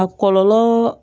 A kɔlɔlɔ